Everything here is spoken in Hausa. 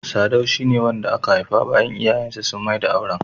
.Sadau shi ne wanda aka haifa bayan iyayen sa sun maida auren.